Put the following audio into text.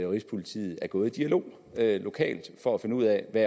rigspolitiet er gået i dialog lokalt for at finde ud af hvad